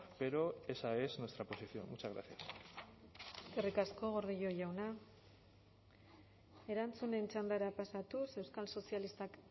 pero esa es nuestra posición muchas gracias eskerrik asko gordillo jauna erantzunen txandara pasatuz euskal sozialistak